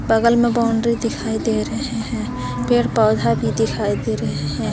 बगल में बाउंड्री दिखाई दे रहे हैं पेड़ पौधा भी दिखाई दे रहे हैं।